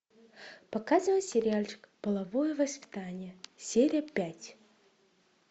показывай сериальчик половое воспитание серия пять